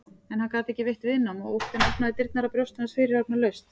En hann gat ekki veitt viðnám og óttinn opnaði dyrnar að brjósti hans fyrirhafnarlaust.